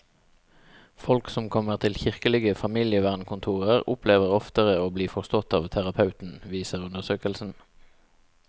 Folk som kommer til kirkelige familievernkontorer, opplever oftere å bli forstått av terapeuten, viser undersøkelsen.